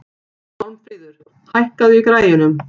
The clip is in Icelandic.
Málmfríður, hækkaðu í græjunum.